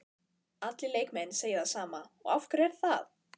Allir leikmenn segja það sama og af hverju er það?